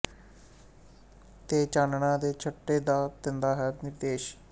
ਤੇ ਚਾਨਣਾਂ ਦੇ ਛੱਟੇ ਦਾ ਦਿੰਦਾ ਹੈ ਨਿਰਦੇਸ਼